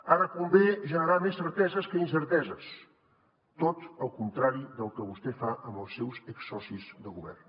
ara convé generar més certeses que incerteses tot el contrari del que vostè fa amb els seus exsocis de govern